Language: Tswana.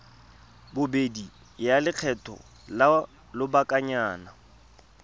bobedi ya lekgetho la lobakanyana